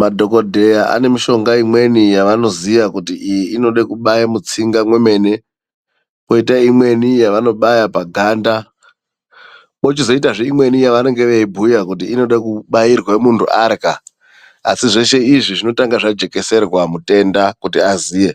Madhokodheya ane mishonga imweni yevanoziya, kuti iyi inoda kubaye mutsinga mwemene. Kwoita imweni yevanobaya paganda. Pochizoitazve imweni ye vanenge veibhuya kuti inode kubairwe munthu arya. Asi zveshe izvi, zvinotanga zvajekeserwa mutenda kuti aziye.